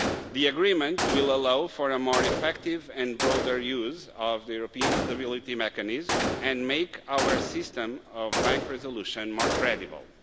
The agreement will allow for a more effective and broader use of the European Stability Mechanism and make our system of bank resolution more credible.